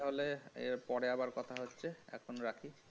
তাহলে পরে আবার কথা হবে এখন রাখি